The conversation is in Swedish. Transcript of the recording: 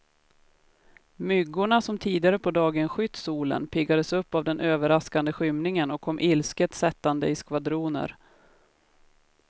Myggorna som tidigare på dagen skytt solen, piggades upp av den överraskande skymningen och kom ilsket sättande i skvadroner.